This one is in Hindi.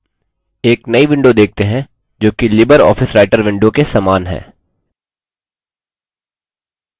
अब हम एक नई window देखते हैं जो कि libreoffice writer window के समान है